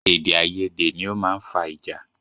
Èdè àyedè ni ọ máa ń fa ìjà